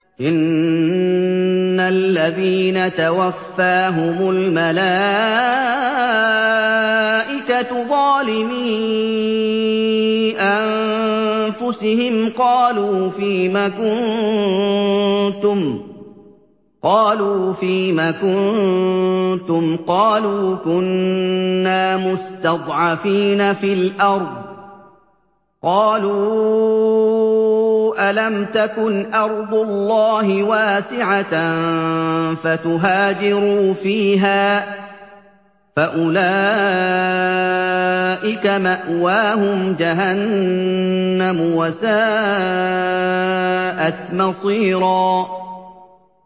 إِنَّ الَّذِينَ تَوَفَّاهُمُ الْمَلَائِكَةُ ظَالِمِي أَنفُسِهِمْ قَالُوا فِيمَ كُنتُمْ ۖ قَالُوا كُنَّا مُسْتَضْعَفِينَ فِي الْأَرْضِ ۚ قَالُوا أَلَمْ تَكُنْ أَرْضُ اللَّهِ وَاسِعَةً فَتُهَاجِرُوا فِيهَا ۚ فَأُولَٰئِكَ مَأْوَاهُمْ جَهَنَّمُ ۖ وَسَاءَتْ مَصِيرًا